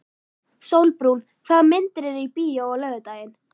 Sólbrún, hvaða myndir eru í bíó á laugardaginn?